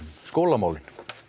skólamál